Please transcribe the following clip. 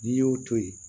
N'i y'o to yen